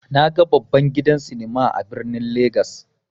Naga babban gidan sinima a birnin legas.